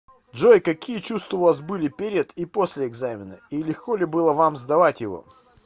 джой какие чувства у вас были перед и после экзамена и легко ли было вам сдавать его